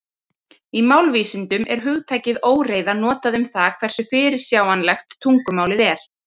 Í málvísindum er hugtakið óreiða notað um það hversu fyrirsjáanlegt tungumálið er.